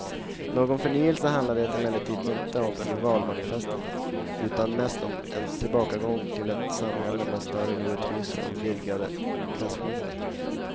Någon förnyelse handlar det emellertid inte om i valmanifestet utan mest om en tillbakagång till ett samhälle med större orättvisor och vidgade klasskillnader.